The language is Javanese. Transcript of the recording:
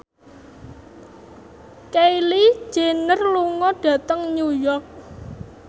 Kylie Jenner lunga dhateng New York